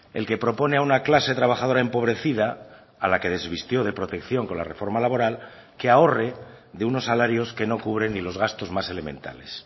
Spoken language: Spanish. el que propone a una clase trabajadora empobrecida a la que desvistió de protección con la reforma laboral que ahorre de unos salarios que no cubren ni los gastos más elementales